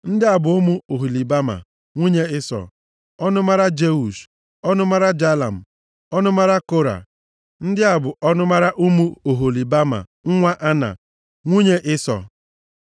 Ndị a bụ ụmụ Oholibama, nwunye Ịsọ, ọnụmara Jeush, ọnụmara Jalam, na ọnụmara Kora. Ndị a bụ ọnụmara ụmụ Oholibama nwa Ana, nwunye Ịsọ.